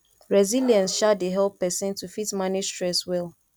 resilience um dey help person to fit manage stress well